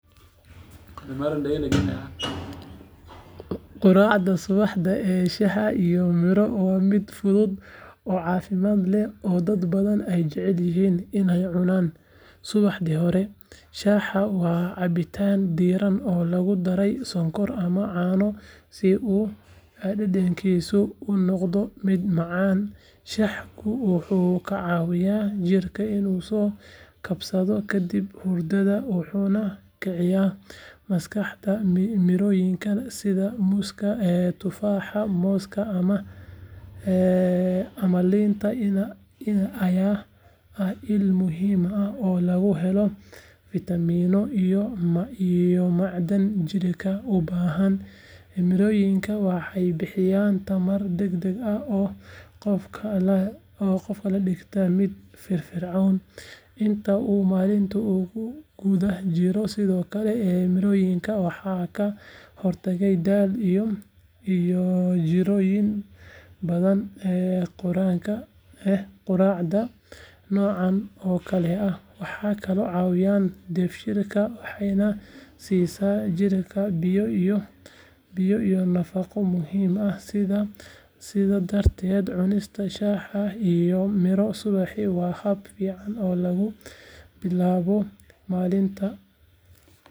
Quraacda subaxda ee shaaha iyo miro waa mid fudud oo caafimaad leh oo dad badan ay jecel yihiin inay cunaan subaxdii hore shaaha waa cabitaan diirran oo lagu daray sonkor ama caano si uu dhadhankiisu u noqdo mid macaan shaahku wuxuu ka caawiyaa jidhka inuu soo kabsado kadib hurdada wuxuuna kiciyo maskaxda mirooyinka sida muuska, tufaaxa, mooska ama liinta ayaa ah il muhiim ah oo laga helo fiitamiino iyo macdan jidhka u baahan mirooyinka waxay bixiyaan tamar degdeg ah oo qofka ka dhigta mid firfircoon inta uu maalinta ku guda jiro sidoo kale mirooyinka waxay ka hortagaan daal iyo jirrooyin badan quraacda noocan oo kale ah waxay kaloo caawisaa dheefshiidka waxayna siisaa jidhka biyo iyo nafaqo muhiim ah sidaa darteed cunista shaah iyo miro subaxii waa hab fiican oo lagu bilaabo maalinta.